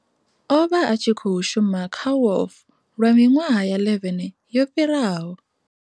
O vha a tshi khou shuma kha WOF lwa miṅwaha ya 11 yo fhiraho.